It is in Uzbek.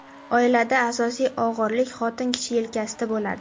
Oilada asosiy og‘irlik xotin kishi yelkasida bo‘ladi.